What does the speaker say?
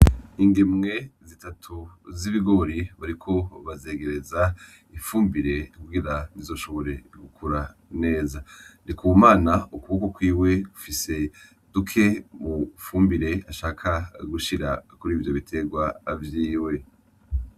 Indimwe zitatu z'ibigori bariko bagereze ifumbire kugire zizoshobore gukura neza NDIKUMANA afise udufumbire dukeyi ashak gushira kurivyo bitegwa vyiwe.